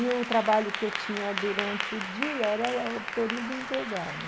E o trabalho que eu tinha durante o dia era o período integral, né?